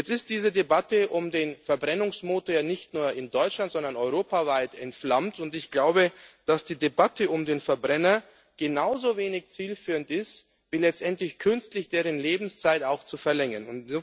Jetzt ist diese Debatte um den Verbrennungsmotor ja nicht nur in Deutschland, sondern europaweit entflammt. Ich glaube, dass die Debatte um den Verbrenner genauso wenig zielführend ist, wie letztendlich künstlich dessen Lebenszeit auch zu verlängern.